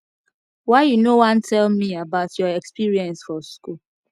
why you no wan tell me about your experience for school